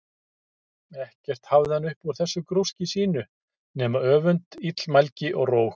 Ekkert hafði hann upp úr þessu grúski sínu nema öfund, illmælgi, og róg.